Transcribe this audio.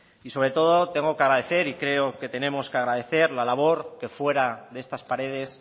y sobre todo tengo que agradecer y creo que tenemos que agradecer la labor que fuera de estas paredes